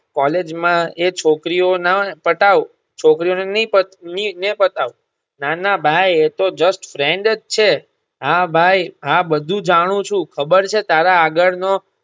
College માં એ છોકરીઓ ના પટાવ છોકરીઓને ની પટા ની ને પતાવ. ના ના ભાઈ એ તો just friend જ છે. હા ભાઈ હા બધું જાણું છું, ખબર છે તારા આગળનો.